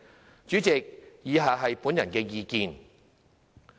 代理主席，以下是本人的意見。